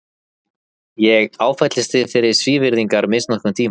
Ég áfellist þig fyrir svívirðilega misnotkun tímans.